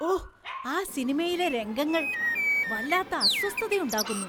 ഓഹ്! ആ സിനിമയിലെ രംഗങ്ങള്‍ വല്ലാത്ത അസ്വസ്ഥതയുണ്ടാക്കുന്നു.